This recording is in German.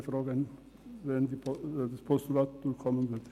Ich wäre froh, wenn das Postulat durchkommen würde.